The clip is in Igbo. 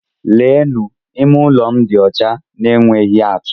Leenụ! Ime ụlọ m dị ọcha na-enweghị atú!